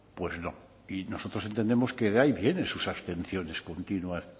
pues no y nosotros entendemos que de ahí vienen sus abstenciones continuas